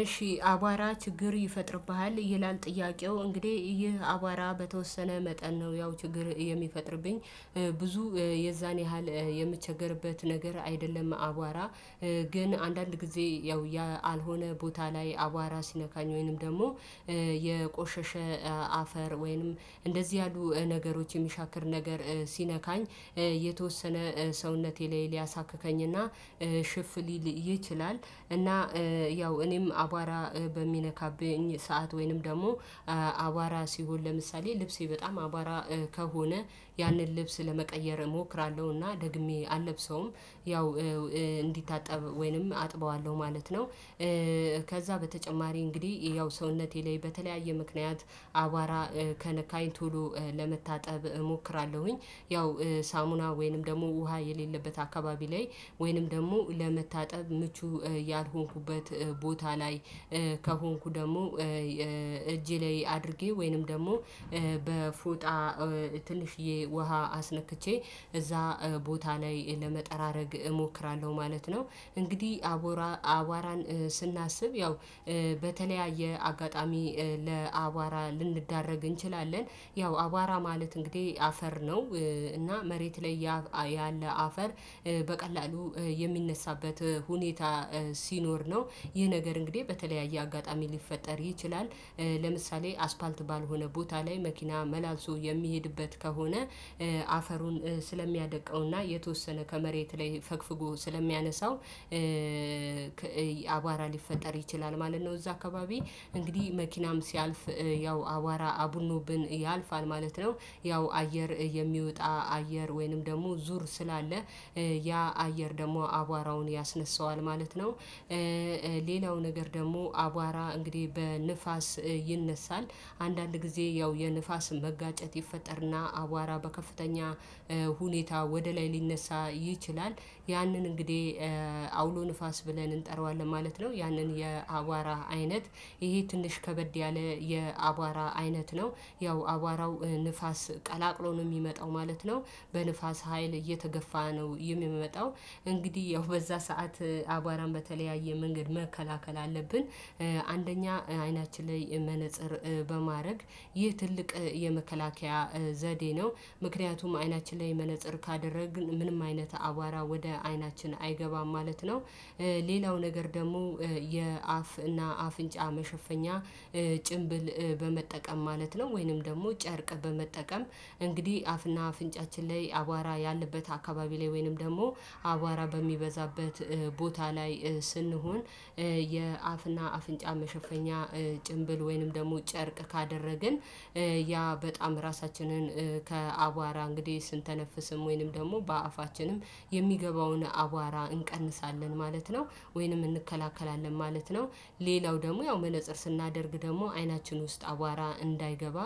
እሺ አቧራ ችግር ይፈጥርብሃል ይላል? ጥያቄው እንግዲህ ይህ አቧራ በተወሰነ መጠን ነው ያው ችግር የሚፈጥርብኝ ብዙ የዛን ያህል የምቸገርበት ነገር አይደለም። አቧራ ግን አንዳንድ ጊዜ ያው ያ አልሆነ ቦታ ላይ አቧራ ሲነካኝ ወይንም ደግሞ የቆሸሸ አፈር ወይንም እንደዚህ ያሉ ነገሮች የሚሻክር ነገር ሲነካኝ የተወሰነ ሰውነቴ ላይ ሊያሳክከኝና ሽፍ ሊል ይችላል። እና ያው እኔም አቧራ በሚነካብኝ ሰዓት ወይንም ደግሞ አቧራ ሲሆን ለምሳሌ ልብሴ በጣም አቧራ ከሆነ ያንን ልብስ ለመቀየር እሞክራለሁና ደግሜ አልለብሰውም ያው እንዲታጠብ ወይንም አጥበዋለሁ ማለት ነው። ከዛ በተጨማሪ እንግዲህ ያው ሰውነቴ ላይ በተለያየ ምክንያት አቧራ ከነካኝ ቶሎ ለመታጠብ እሞክራለሁኝ ያው ሳሙና ወይንም ደግሞ ውሃ የሌለበት አካባቢ ላይ ወይንም ደግሞ ለመታጠብ ምቹ ያልሆንኩበት ቦታ ላይ ከሆንኩ ደግሞ እጄ ላይ አድርጌ ወይንም ደግሞ በፉጣ ትንሽዬ ውሃ አስነክቼ እዛ ቦታ ላይ ለመጠራረግ እሞክራለሁ ማለት ነው። እንግዲህ አቧራ አቧራን ስናስብ ያው በተለያየ አጋጣሚ ለአቧራ ልንደረግ እንችላለን ያው አቧራ ማለት እንግዲህ አፈር ነው። እና መሬት ላይ ያለ አፈር በቀላሉ የሚነሳበት ሁኔታ ሲኖር ነው ይህ ነገር እንግዲህ በተለያየ አጋጣሚ ሊፈጠር ይችላል። ለምሳሌ አስፓልት ባልሆነ ቦታ ላይ መኪና መላልሶ የሚሄድበት ከሆነ አፈሩን ስለሚያደቃውና የተወሰነ ከመሬት ላይ ፈግፍጎ ስለሚያነሳው አባራ ሊፈጠር ይችላል ማለት ነው። እዛ አካባቢ እንግዲህ መኪናም ሲያልፍ ያው አባራ አቡኖብን ያልፋል ማለት ነው። ያው አየር የሚወጣ አየር ወይንም ደግሞ ዙር ስላለ ያ አየር ደግሞ አቧራውን ያስነሳዋል ማለት ነው። ሌላው ነገር ደግሞ አቧራ እንግዲህ በንፋስ ይነሳል። አንዳንድ ጊዜ ያው የንፋስን መጋጨት ይፈጠርና አቧራ በከፍተኛ ሁኔታ ወደ ላይ ሊነሳ ይችላል። ያንን እንግዲህ አውሎ ንፋስ ብለን እንጠራዋለን ማለት ነው። ያንን የአቧራ አይነት ይሄ ትንሽ ከበድ ያለ የአቧራ አይነት ነው። ያው አቧራው ንፋስ ቀላቅሎ ነው የሚመጣው ማለት ነው። በንፋስ ሀይል እየተገፋ ነው የሚመጣው። እንግዲህ ያው በዛ ሰዓት አቧራን በተለያየ መንገድ መከላከል አለብን። አንደኛ አይናችን ላይ መነፅር በማድረግ ይህ ትልቅ የመከላከያ ዘዴ ነው። ምክንያቱም አይናችን ላይ መነፀር ካደረግን ምንም አይነት አቧራ ወደ አይናችን አይገባም ማለት ነው። ሌላው ነገር ደግሞ የአፍ እና አፍንጫ መሸፈኛ ጭንብል በመጠቀም ማለት ነው ወይንም ደግሞ ጨርቅ በመጠቀም እንግዲህ አፍና አፍንጫችን ላይ አቧራ ያለበት አካባቢ ላይ ወይንም ደግሞ አቧራ በሚበዛበት ቦታ ላይ ስንሆን የአፍና አፍንጫ መሸፈኛ ጭንብል ወይንም ደግሞ ጨርቅ ካደረግን ያ በጣም ራሳችንን ከአቧራ እንግዲህ ስንተነፍስም ወይንም ደግሞ በአፋችንም የሚገባውን አቧራ እንቀንሳለን ማለት ነው ወይንም እንከላከላለን ማለት ነው። ሌላው ደግሞ ያው መለፀር ስናደርግ ደግሞ አይናችን ውስጥ አቧራ እንዳይገባ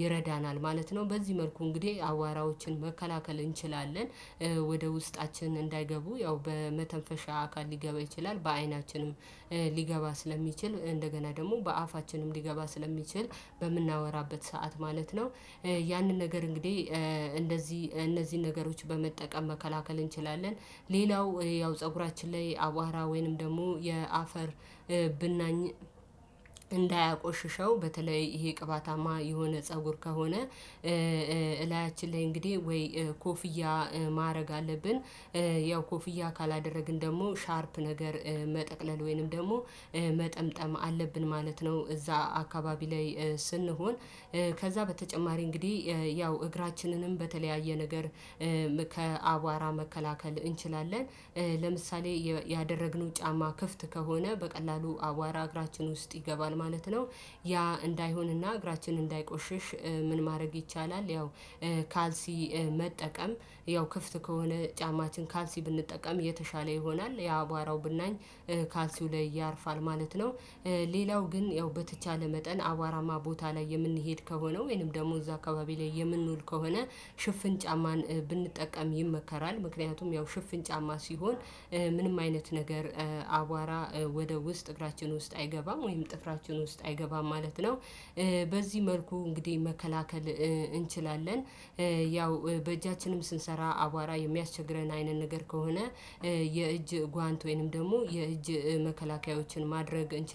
ይረዳናል ማለት ነው። በዚህ መልኩ እንግዲህ አዋራዎችን መከላከል እንችላለን። ወደ ውስጣችን እንዳይገቡ ያው በመተንፈሻ አካል ሊገባ ይችላል በአይናችንም ሊገባ ስለሚችል እንደገና ደግሞ በአፋችንም ሊገባ ስለሚችል በምናወራበት ሰዓት ማለት ነው። ያንን ነገር እንግዲህ እንደዚህ እነዚህን ነገሮች በመጠቀም መከላከል እንችላለን። ሌላው ያው ፀጉራችን ላይ አቧራ ወይንም ደግሞ የአፈር ብናኝ እንዳያቆሽሸው በተለይ ይሄ ቅባታማ የሆነ ፀጉር ከሆነ እላያችን ላይ እንግዲህ ወይ ኮፍያ ማድረግ አለብን። ያው ኮፍያ ካላደረግን ደግሞ ሻርፕ ነገር መጠቅለል ወይንም ደግሞ መጠምጠም አለብን ማለት ነው። እዛ አካባቢ ላይ ስንሆን ከዛ በተጨማሪ እንግዲህ ያው እግራችንንም በተለያየ ነገር ከአቧራ መከላከል እንችላለን። ለምሳሌ ያደረግነው ጫማ ክፍት ከሆነ በቀላሉ አዋራ እግራችን ውስጥ ይገባል ማለት ነው። ያ እንዳይሆንና እግራችን እንዳይቆሽሽ ምን ማድረግ ይቻላል? ያው ካልሲ መጠቀም ያው ክፍት ከሆነ ጫማችን ካልሲ ብንጠቀም የተሻለ ይሆናል። የአቧራው ብናኝ ካልሲው ላይ ያርፋል ማለት ነው። ሌላው ግን ያው በተቻለ መጠን አዋራማ ቦታ ላይ የምንሄድ ከሆነው ወይንም ደግሞ እዛ አካባቢ ላይ የምንውል ከሆነ ሽፍን ጫማን ብንጠቀም ይመከራል። ምክንያቱም ያው ሽፍን ጫማ ሲሆን ምንም አይነት ነገር አቧራ ወደ ውስጥ እግራችን ውስጥ አይገባም ወይም ጥፍራችን ውስጥ አይገባም ማለት ነው። በዚህ መልኩ እንግዲህ መከላከል እንችላለን። ያው በእጃችንም ስንሰራ አቧራ የሚያስቸግረን አይነት ነገር ከሆነ የእጅ ጓንት ወይንም ደግሞ የእጅ መከላከያዎችን ማድረግ